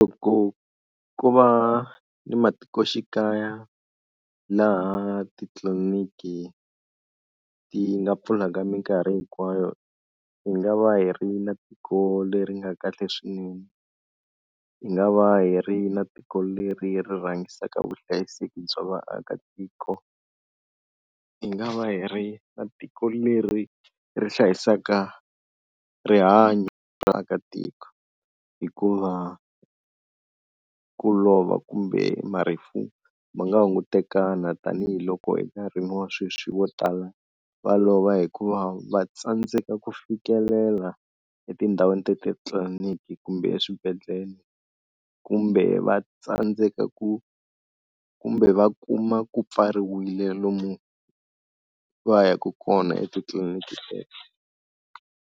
Loko ku va ni matikoxikaya laha titliliniki ti nga pfulaka minkarhi hinkwayo hi nga va hi ri na tiko leri nga kahle swinene hi nga va hi ri na tiko leri ri rhangisiwaka vuhlayiseki bya vaakatiko hi nga va hi ri na tiko leri ri hlayisaka rihanyo vaakatiko hikuva ku lova kumbe marifu ma nga hungutekana tanihiloko enkarhini wa sweswi vo tala va lova hikuva va tsandzeka ku fikelela etindhawini ta titliliniki kumbe eswibedhlele kumbe va tsandzeka ku kumbe va kuma ku pfariwile lomu va yaku kona etitliliniki.